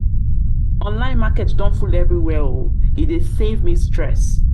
nline market don full everywhere oo e dey give me stress